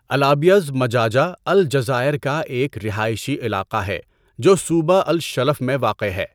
El Abiodh مجاجہ الجزائر کا ایک رہائشی علاقہ ہے جو صوبہ الشلف میں واقع ہے۔